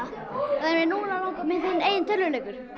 en núna langar mig í minn eigin tölvuleikur